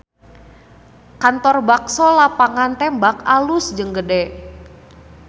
Kantor Bakso Lapangan Tembak alus jeung gede